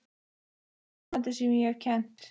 Pabbi hennar er besti nemandi sem ég hef kennt.